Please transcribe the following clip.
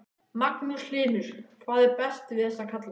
Magnús Hlynur: Hvað er best við þessa kalla?